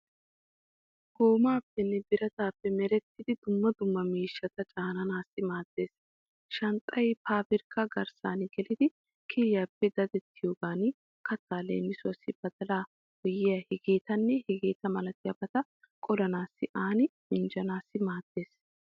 Goomaapenne birataape merettidi dumma dumma miishshata caananaassi maaddeees. Shanxxay paabirkka garssan gelidi kiriyappe dadettiyoogan kattaa leemisuwaassi badalaa wohiya hegeetanne hegeeta malatiyaabata qolanaassinne aani minjjanaassi maaddeees.